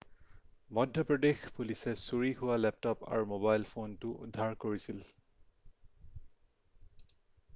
মধ্যপ্ৰদেশ পুলিচে চুৰি হোৱা লেপটপ আৰু মোবাইল ফোনটো উদ্ধাৰ কৰিছিল